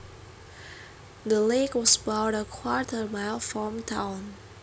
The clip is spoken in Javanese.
The lake was about a quarter mile from town